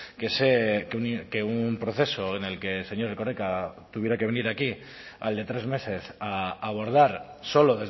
que sé que un proceso en el que señor erkoreka tuviera que venir aquí al de tres meses a abordar solo